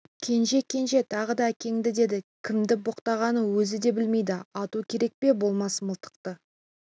кенже кенже тағы да әкеңді деді кімді боқтағанын өзі де білмейді ату керек пе болмаса мылтықты